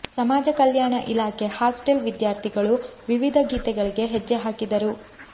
ಸಮಾಜ ಕಲ್ಯಾಣ ಇಲಾಖೆ ಹಾಸ್ಟೆಲ್ ವಿದ್ಯಾರ್ಥಿಗಳು ವಿವಿಧ ಗೀತೆಗಳಿಗೆ ಹೆಜ್ಜೆ ಹಾಕಿದರು